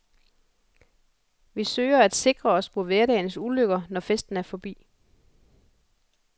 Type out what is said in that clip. Vi søger at sikre os mod hverdagens ulykker, når festen er forbi.